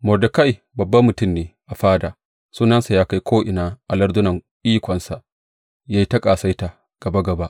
Mordekai babban mutum ne a fada, sunansa ya kai ko’ina a lardunan, ikonsa ya yi ta ƙasaita gaba gaba.